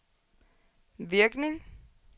virkning